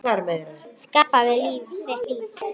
Skapa þér þitt líf.